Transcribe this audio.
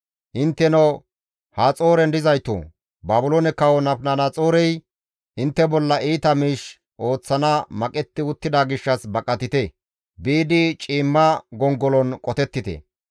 «Intteno Haxooren dizaytoo! Baabiloone kawo Nabukadanaxoorey intte bolla iita miish ooththana maqetti uttida gishshas baqatite; biidi ciimma gongolon qotettite.